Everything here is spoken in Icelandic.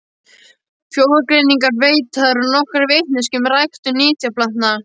Frjógreiningin veitir og nokkra vitneskju um ræktun nytjaplantna.